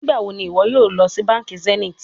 Nigbawo ni iwọ yoo lọ si banki zenith?